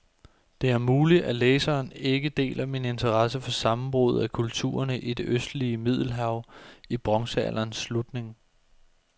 Det er muligt, læseren ikke deler min interesse for sammenbruddet af kulturerne i det østlige middelhav i bronzealderens slutning.